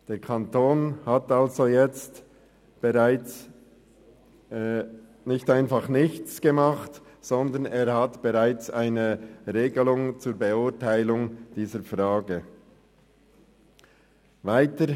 Der Kanton ist also nicht untätig geblieben und hat bereits jetzt eine Regelung zur Beurteilung dieser Frage getroffen.